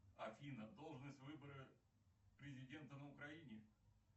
афина должность выборы президента на украине